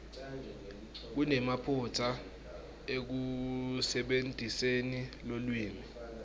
kunemaphutsa ekusebentiseni lulwimi